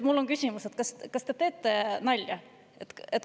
Mul on küsimus: kas te teete nalja?